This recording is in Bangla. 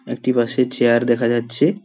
একটি বাসে চেয়ার দেখা যাচ্ছে।